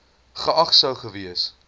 geag sou gewees